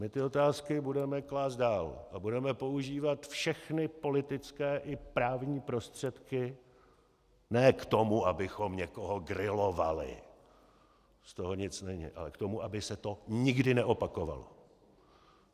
My ty otázky budeme klást dál a budeme používat všechny politické i právní prostředky ne k tomu, abychom někoho grilovali, z toho nic není, ale k tomu, aby se to nikdy neopakovalo.